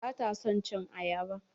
Bata son cin ayaba.